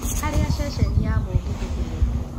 harĩa ceceni ya mũgithi ĩrĩ